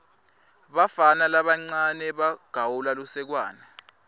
bafana labancawe bagawula lusekwane